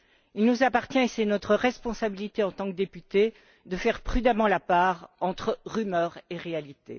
Il nous appartient, et c'est notre responsabilité en tant que députés, de faire prudemment la part entre rumeurs et réalité.